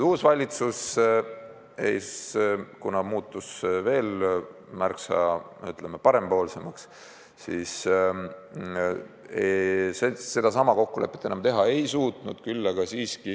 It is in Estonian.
Uus valitsus on veel märksa, ütleme, parempoolsem ja seda kokkulepet enam teha pole suudetud.